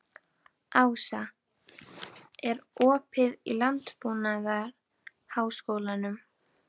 Ása, er opið í Landbúnaðarháskólanum?